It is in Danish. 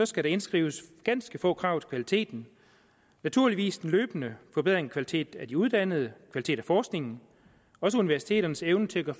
skal indskrives ganske få krav til kvaliteten naturligvis en løbende forbedring af kvalitet af de uddannede kvalitet af forskningen også universiteternes evne til at